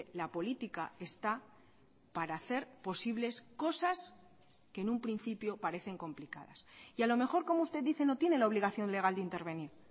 la política está para hacer posibles cosas que en un principio parecen complicadas y a lo mejor como usted dice no tiene la obligación legal de intervenir